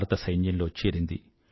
భారత సైన్యంలో చేరింది